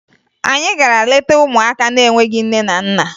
Anyị gara leta ụmụaka na-enweghi nne na nna